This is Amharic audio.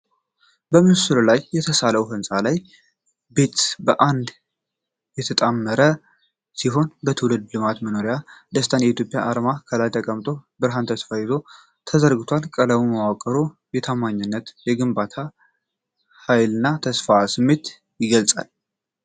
በምስሉ ላይ የተሳለው ሕንፃ እና ቤት በአንድነት የተጣመሩ ሲሆን የትውልድ ልማትንና የመኖሪያ ደስታንና፣ የኢትዮጵያ አርማ ከላይ ተቀምጦ በብርሃንና ተስፋ ይዞ ተዘርግታለች። ቀለም መዋቅሩ የታማኝነትን፣ የግንባታ ኃይልንና የተስፋ ስሜትን ይገልጻል።